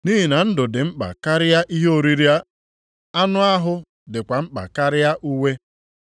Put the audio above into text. Nʼihi na ndụ dị mkpa karịa ihe oriri, anụ ahụ dịkwa mkpa karịa uwe.